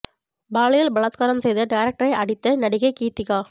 பாலியல் பலாத்காரம் செய்த டைரக்டரை அடித்த நடிகை கீத்திகா